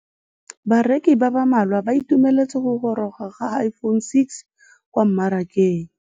Bareki ba ba malwa ba ituemeletse go gôrôga ga Iphone6 kwa mmarakeng.